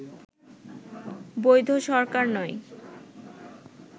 বৈধ সরকার নয়